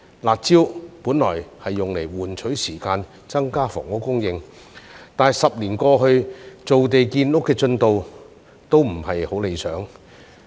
"辣招"本用作換取時間，增加房屋供應，但10年過去，造地建屋的進度也不是很理想。